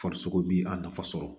Farisogo bi a nafa sɔrɔ